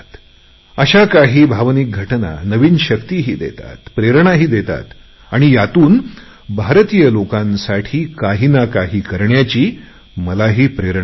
अशा काही भावूक घटना नवीन शक्तिही देतात प्रेरणाही देतात आणि यातून भारतीय लोकांसाठी काही ना काही करण्याची मलाही प्रेरणा मिळते